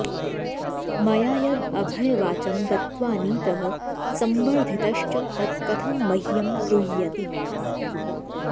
मया यद् अभयवाचं दत्त्वानीतः संवर्धितश्च तत्कथं मह्यं द्रुह्यति